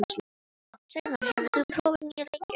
Sæmar, hefur þú prófað nýja leikinn?